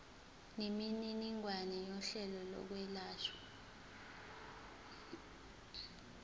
nemininingwane yohlelo lokwelashwa